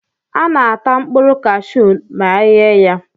A na-ata mkpụrụ kashụụ ma eghe ya.